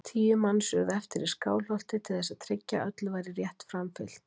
Tíu manns urðu eftir í Skálholti til þess að tryggja að öllu væri rétt framfylgt.